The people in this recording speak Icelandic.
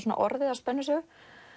orðið að spennusögu